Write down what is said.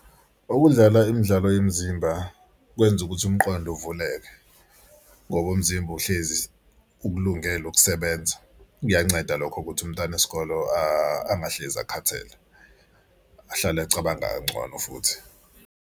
Ukudlala imidlalo yomzimba kwenza ukuthi umqondo uvuleke ngoba umzimba uhlezi ukulungela ukusebenza. Kuyanceda lokho ukuthi umntana wesikolo angahlezi akhathele ahlale acabanga kangcono futhi.